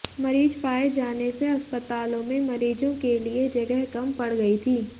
मरीज पाये जाने से अस्पतालों में मरीजों के लिए जगह कम पड़ गयी थी